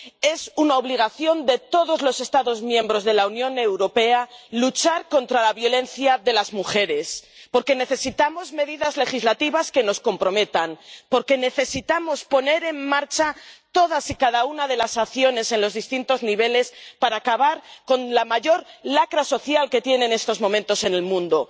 Es una obligación de todos los Estados miembros de la Unión Europea luchar contra la violencia contra las mujeres, porque necesitamos medidas legislativas que nos comprometan, porque necesitamos poner en marcha todas y cada una de las acciones en los distintos niveles para acabar con la mayor lacra social que tiene en estos momentos el mundo.